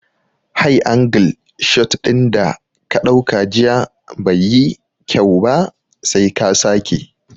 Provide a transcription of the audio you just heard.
High angle shot dinda ka dauka jiya bai yi kyau ba, sai ka sake